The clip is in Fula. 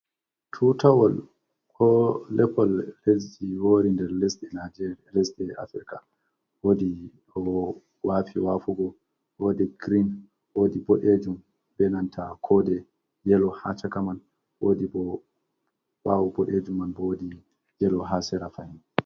Tutawol ko lepal lesdi wori nder e lesde africa wodi wafi wafugo, wodi green wodi bodejum, be nanta kode yelo ha chakaman wodi bo bawo bodejum bo wodi yelo ha sera fahin.